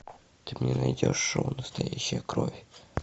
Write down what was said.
ты мне найдешь шоу настоящая кровь